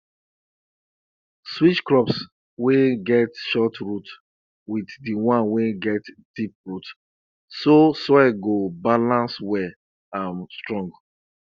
switch crops wey get short root with the ones wey get deep root so soil go balance well and strong